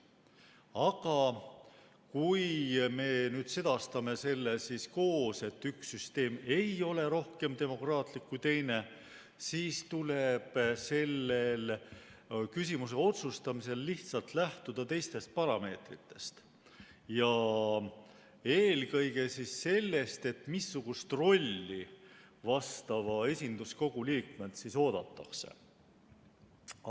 Aga kui me nüüd sedastame koos, et üks süsteem ei ole rohkem demokraatlik kui teine, siis tuleb selle küsimuse otsustamisel lihtsalt lähtuda teistest parameetritest, eelkõige sellest, missugust rolli vastava esinduskogu liikmelt oodatakse.